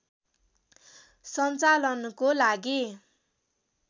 सञ्चालनको लागि